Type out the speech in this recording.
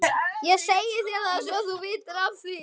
Ég segi þér það, svo að þú vitir af því